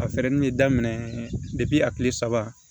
A fɛrɛlen bɛ daminɛ a kile saba